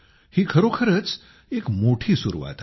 ही खरोखरच एक मोठी सुरुवात आहे